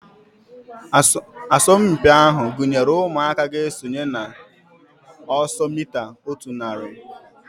Asọmpi ahu gụnyere ụmụaka ga-esonye na ọsọ mita otu narị